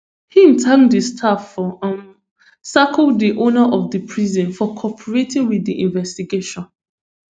im thank di staff for um serco di owner of di prison for cooperating wit di investigation